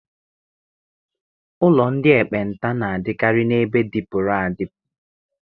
Ụlọ ndị ekpenta na-adịkarị n'ebe dịpụrụ adịpụ.